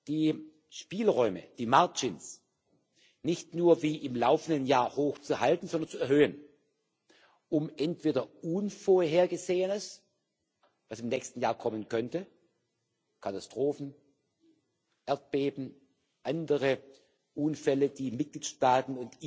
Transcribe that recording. die Spielräume nicht nur wie im laufenden Jahr hochzuhalten, sondern zu erhöhen, um entweder Unvorhergesehenes, was im nächsten Jahr kommen könnte Katastrophen, Erdbeben, andere Unfälle, die die Mitgliedstaaten